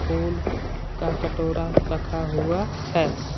फूल का कटोरा रखा हुआ है।